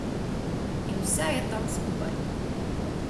In vse je tam skupaj.